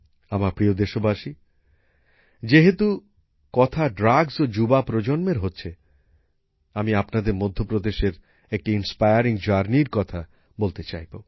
আমার প্রিয় দেশবাসী যেহেতু কথা মাদক ও যুবসম্প্রদায়ের হচ্ছে আমি আপনাদের মধ্য প্রদেশের একটি অনুপ্রেরণামুলক উদ্যোগের কথা বলতে চাইব